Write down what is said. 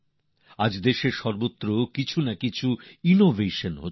আজ দেশে প্রত্যেক জায়গায় কিছু না কিছু উদ্ভাবন হচ্ছে